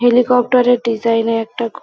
helicopter - এর design -এর একটা খ --